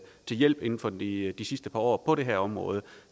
til hjælp inden for de sidste par år på det her område